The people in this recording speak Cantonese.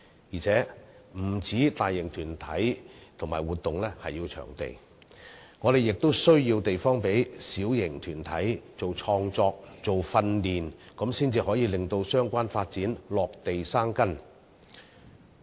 而且，不單大型團體和活動需要場地，小型團體創作、訓練亦需要地方，才可以讓相關發展落地生根。